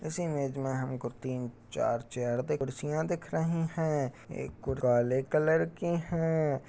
इस इमेज में हमको तीन चार चेयर कुर्सियाॅं दिख रही हैं एक काले कलर की है।